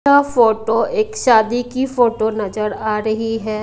यह फोटो एक शादी की फोटो नजर आ रही है।